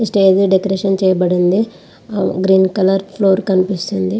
Stage decoration చేయబడింది . Green colour floor కనిపిస్తుంది.